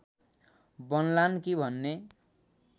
बन्लान् कि भन्ने